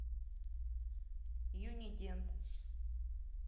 юнидент